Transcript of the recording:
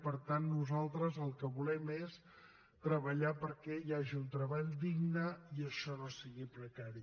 per tant nosaltres el que volem és treballar perquè hi hagi un treball digne i això no sigui precari